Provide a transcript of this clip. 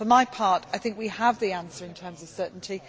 For my part, I think we have the answer in terms of certainty.